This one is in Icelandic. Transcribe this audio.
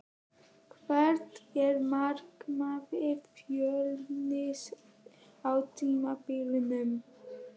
Hvert er markmið Fjölnis á tímabilinu?